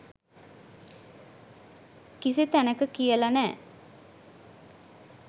කිසි තැනක කියල නෑ.